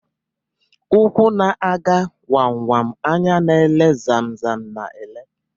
Úkwù na aga wam wam anya na ele zam zam na ele.